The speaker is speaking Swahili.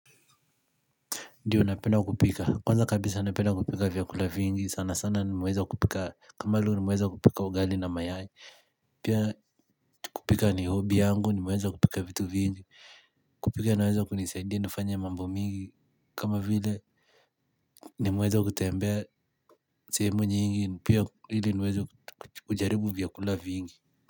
Ndio napenda kupika kwa kabisa napenda kupika vyakula vingi sana sana nimeweza kupika. Kama leo nimweza kupika ugali na mayai. Pia kupika ni hobi yangu. Nimeweza kupika vitu vingi. Kupika inaweza kunisaidia. Nifanya mambo mingi. Kama vile nimeweza kutembea sehemu nyingi. Pia ili niweze kujaribu vyakula vingi.